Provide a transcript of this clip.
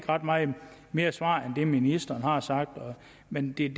ret meget mere svar end det ministeren allerede har sagt men det er